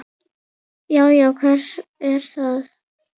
Já. já, hver er þar?